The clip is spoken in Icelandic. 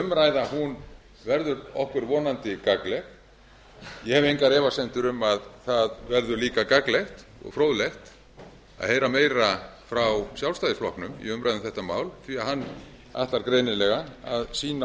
umræða verður okkur vonandi gagnleg ég hef engar efasemdir um að það verður líka gagnlegt og fróðlegt að heyra meira frá sjálfstæðisflokknum í umræðu um þetta mál því að ætlar greinilega að sýna